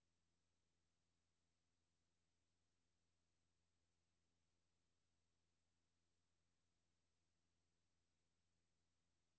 K O N C E N T R A T I O N E R N E